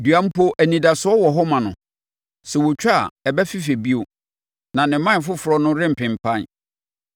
“Dua mpo anidasoɔ wɔ hɔ ma no: Sɛ wɔtwa a, ɛbɛfefɛ bio, na ne mman foforɔ no rempempan.